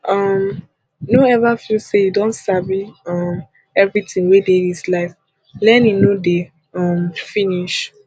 um no ever feel say you don sabi um everything wey dey dis life learning no dey um finish